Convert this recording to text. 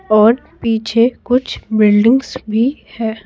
और पीछे कुछ बिल्डिंग्स भी है।